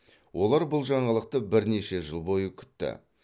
олар бұл жаңалықты бірнеше жыл бойы күтті